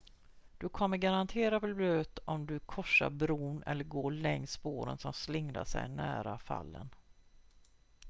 du kommer garanterat bli blöt om du korsar bron eller går längs spåren som slingrar sig nära fallen